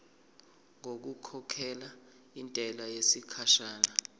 ngokukhokhela intela yesikhashana